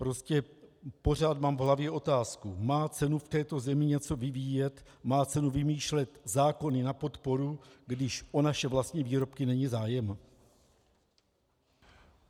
Prostě pořád mám v hlavě otázku: Má cenu v této zemi něco vyvíjet, má cenu vymýšlet zákony na podporu, když o naše vlastní výrobky není zájem?